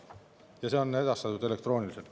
See on edastatud elektrooniliselt.